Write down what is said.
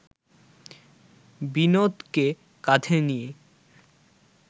বিনোদকে কাঁধে নিয়ে